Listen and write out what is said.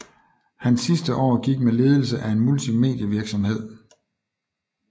Hans sidste år gik med ledelse af en multimedievirksomhed